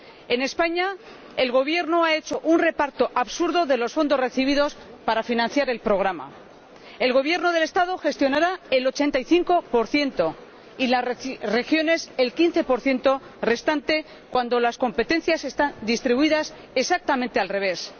En España, el Gobierno ha hecho un reparto absurdo de los fondos recibidos para financiar el programa el Gobierno del Estado gestionará el 85 y las regiones, el 15 restante, cuando las competencias están distribuidas exactamente al revés.